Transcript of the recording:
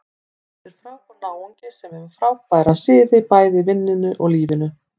Þetta er frábær náungi sem er með frábæra siði, bæði í vinnunni og lífinu.